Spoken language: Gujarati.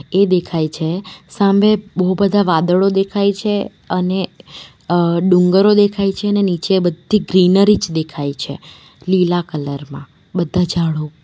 એ દેખાય છે વસામે બહુ બધા વાદળો દેખાય છે અને અં ડુંગરો દેખાય છે અને નીચે બધી ગ્રીનરી જ દેખાય છે લીલા કલર માં બધા ઝાડો.